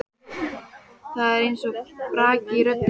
Það er eins og braki í röddinni.